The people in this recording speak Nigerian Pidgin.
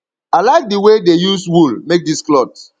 i like the way dey use wool make dis cloth